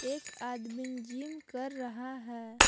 एक आदमी जिम कर रहा है।